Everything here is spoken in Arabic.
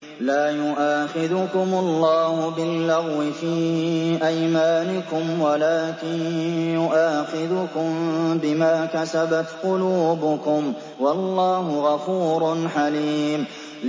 لَّا يُؤَاخِذُكُمُ اللَّهُ بِاللَّغْوِ فِي أَيْمَانِكُمْ وَلَٰكِن يُؤَاخِذُكُم بِمَا كَسَبَتْ قُلُوبُكُمْ ۗ وَاللَّهُ غَفُورٌ حَلِيمٌ